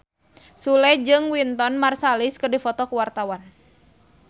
Sule jeung Wynton Marsalis keur dipoto ku wartawan